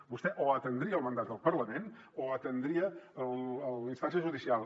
vostè o atendria el mandat del parlament o atendria la instància judicial